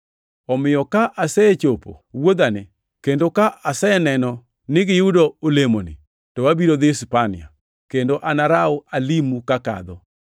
Omiyo ka asechopo wuodhani, kendo ka aseneno ni giyudo olemoni, to abiro dhi Spania, kendo anaraw alimu kakadho.